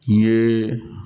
N ye